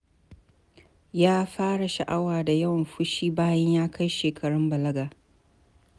Ya fara sha'awa da yawan fushi bayan ya kai shekarun balaga.